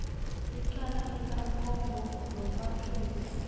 icala likamkombo nomathungu